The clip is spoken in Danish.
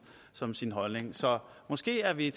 som sin holdning så måske er vi